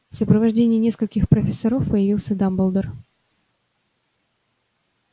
в сопровождении нескольких профессоров появился дамблдор